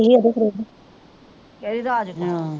ਕਿਹੜੀ ਰਾਜ ਕੋ